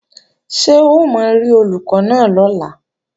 Ṣé o máa rí Olùkọ́ náà lọ́la?